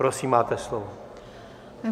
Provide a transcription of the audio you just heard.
Prosím, máte slovo.